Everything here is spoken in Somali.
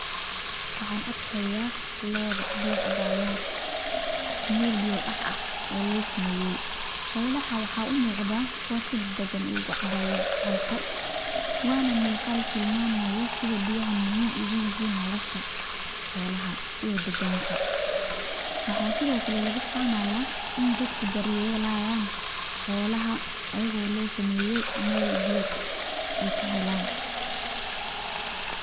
Waxaan arkayaa lo’ biyo ka cabaya meel biyo-daac ah oo lo samaye si gaar ah loogu sameeyay xoolaha. Waxay u muuqdaan kuwo si deggan oo u cabaya halkaas . Muuqaalkani wuxuu tilmaamayaa muhiimadda biyaha u leeyihiin nolosha xoolaha iyo deegaanka guud ahaan. Waxaa sidoo kale laga fahmi karaa in dadka deegaanka ay si dhab ah uga shaqeynayaan daryeelka xoolaha, iyaga oo lo sameeyay meel ay biya ka helaan.